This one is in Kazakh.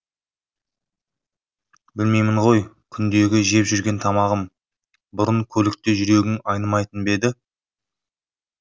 білмеймін ғой күндегі жеп жүрген тамағым бұрын көлікте жүрегің айнымайтын ба еді